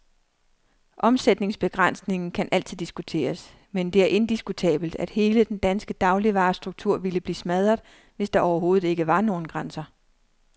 Omsætningsbegrænsningen kan altid diskuteres, men det er indiskutabelt, at hele den danske dagligvarestruktur ville blive smadret, hvis der overhovedet ikke var nogen grænser.